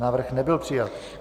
Návrh nebyl přijat.